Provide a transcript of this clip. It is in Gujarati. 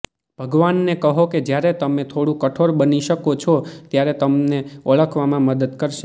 ભગવાનને કહો કે જ્યારે તમે થોડું કઠોર બની શકો છો ત્યારે તમને ઓળખવામાં મદદ કરશે